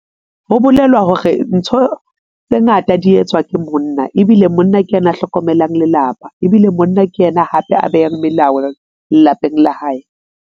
Ho bolelwa hore ntho tse ngata di etswa ke monna ebile monna ke yena a hlokomelang lelapa ebile monna ke yena hape a behang melao lelapeng la hae.